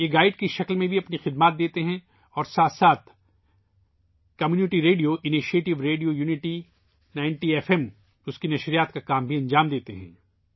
یہ گائیڈ کے طور پر بھی کام کرتے ہیں نیز community radio initiative, radio unity 90 F M چلاتے ہیں